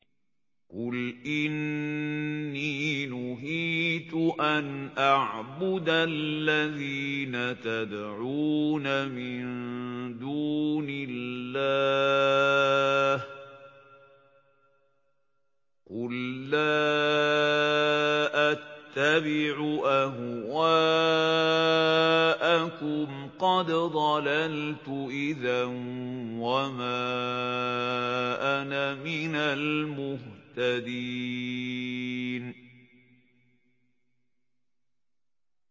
قُلْ إِنِّي نُهِيتُ أَنْ أَعْبُدَ الَّذِينَ تَدْعُونَ مِن دُونِ اللَّهِ ۚ قُل لَّا أَتَّبِعُ أَهْوَاءَكُمْ ۙ قَدْ ضَلَلْتُ إِذًا وَمَا أَنَا مِنَ الْمُهْتَدِينَ